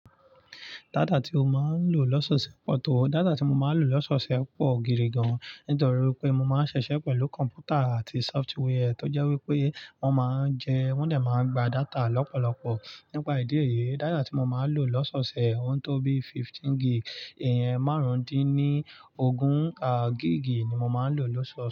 Data ti o máa ń lò lọ́sọ̀ọ̀sẹ̀ pọ̀ tó, data tí mo máa ń lò lọ́sọ̀ọ̀sẹ̀ pọ̀ gidi gan-an. Nítorí pé mo máa ń ṣiṣẹ̀ pẹ̀lú kọ̀m̀pútà àti sọ́fútíwẹì tó jẹ́ wípé wọ́n máa ń jẹun, wọ́n dè máa ń gba data lọ́pọ̀lọ́pọ̀. Nípa ìdí èyí, data tí mo máa ń lò lọ́sọ̀ọ̀sẹ̀, ohun tó bí fifteen gigì, ìyẹn márùndíni ógún à gigì ni mo máa ń lò lọ́sọ̀ọ̀sẹ̀